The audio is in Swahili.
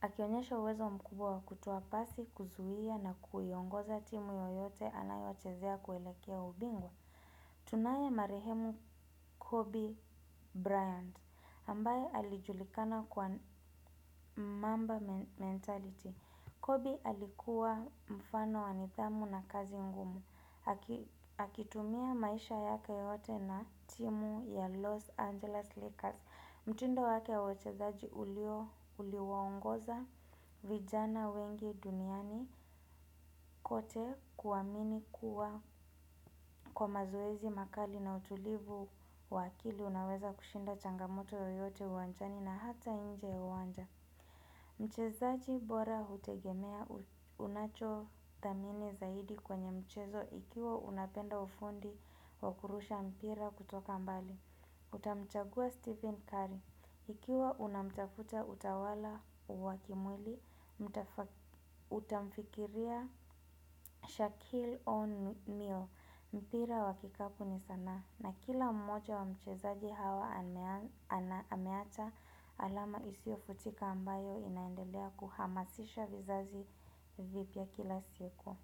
Akionyesho uwezo mkubwa wa kutoa pasi, kuzuia na kuongoza timu yoyote anayochezea kuelekea ubingwa. Tunaye marehemu Kobe Bryant. Ambaye alijulikana kwa mamba mentality. Kobe alikuwa mfano wa nidhamu na kazi ngumu. Aki Akitumia maisha yake yote na timu ya Los Angeles Lakers mtindo wake wa uchezaji uliwaongoza vijana wengi duniani kote kuamini kuwa, kwa mazoezi makali na utulivu wa akili Unaweza kushinda changamoto yoyote uwanjani na hata nje uwanja Mchezaji bora hutegemea unachothamini zaidi kwenye mchezo Ikiwa unapenda ufundi wakurusha mpira kutoka mbali Nitamchagua Stephen Curry Ikiwa unamtafuta utawala wa kimwili Utamfikiria Shaquille O'Neal mpira wakikapu ni sanaa. Na kila mmoja wa mchezaji hawa ameacha alama isiofutika ambayo inaendelea kuhamasisha vizazi vipya kila siku.